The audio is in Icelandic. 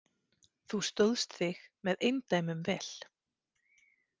Þú stóðst þig með eindæmum vel.